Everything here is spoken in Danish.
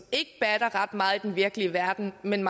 gør at man